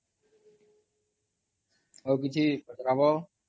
ଆଉ କିଛି ପଚରା ହବ?